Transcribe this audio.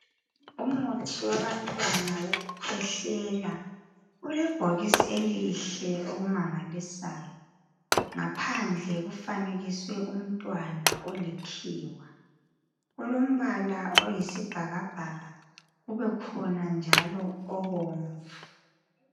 Umuthi wabantwana wokukhwehlela ulebhokisi elihle okumangalisayo. Ngaphandle kufanekiswe umntwana olikhiwa kulombala oyisibhakabhaka kubekhona njalo obomvu.